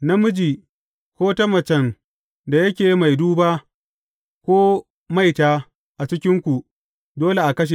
Namiji, ko ta macen da yake mai duba, ko maita a cikinku dole a kashe.